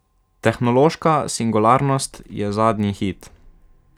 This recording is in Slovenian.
Tehnološka singularnost je zadnji hit.